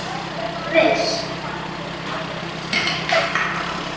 SKÚLI: Ertu viss?